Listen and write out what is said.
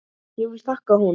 Ég vil þakka honum.